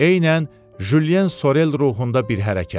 Eynən Julien Sorel ruhunda bir hərəkət.